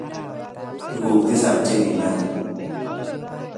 Tuguk tisab che kinoe